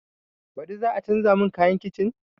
Baɗi za a canza mun kayan kicin?